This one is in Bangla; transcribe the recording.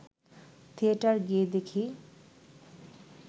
থিয়েটার গিয়ে দেখি